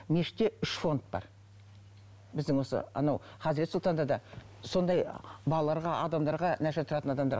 мешітте үш фонд бар біздің осы анау хазірет сұлтанда да сондай балаларға адамдарға нашар тұратын адамдарға